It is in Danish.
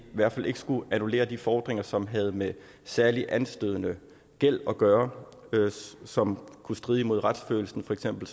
hvert fald ikke skulle annullere de fordringer som havde med særligt anstødende gæld at gøre som kunne stride mod retsfølelsen for eksempel